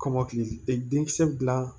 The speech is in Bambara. Kɔmɔkili de denkisɛ dilan